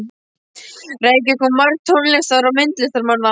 Reykjavík kom margt tónlistar- og myndlistarmanna.